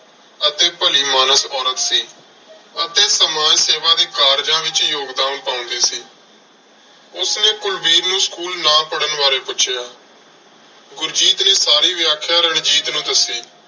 ਅਤੇ ਭਲੀ ਮਾਨਸ ਔਰਤ ਸੀ ਅਤੇ ਸਮਾਜ ਸੇਵਾ ਦੇ ਕਾਰਜਾਂ ਵਿੱਚ ਯੋਗਦਾਨ ਪਾਉਂਦੀ ਸੀ। ਉਸਨੇ ਕੁਲਵੀਰ ਨੂੰ school ਨਾ ਪੜਨ ਬਾਰੇ ਪੁੱਛਿਆ, ਗੁਰਜੀਤ ਨੇ ਸਾਰੀ ਵਿਆਖਿਆ ਰਣਜੀਤ ਨੂੰ ਦੱਸੀ।